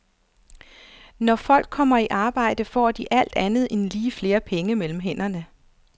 Når folk kommer i arbejde, får de alt andet lige flere penge mellem hænderne.